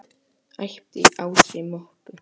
æpti Ási Möggu.